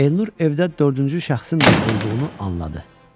Elnur evdə dördüncü şəxsin də olduğunu anladı.